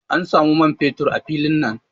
An samu man fetur a filin nan.